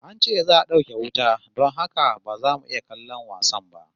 An ce za'a dauke wuta don haka ba za mu iya kallon wasan ba